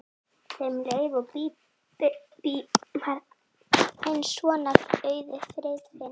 Þeim Leifi og Bíbí varð eins sonar auðið, Friðfinns.